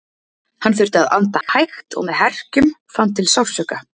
Hann þurfti að anda hægt og með herkjum, fann til sársauka.